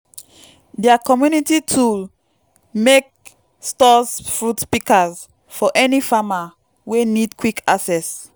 dia community tool mek stores fruit pikas for any farmer wey nid quick access